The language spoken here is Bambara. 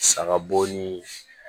Saga bo ni